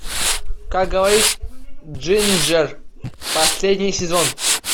как говорит джинджер последний сезон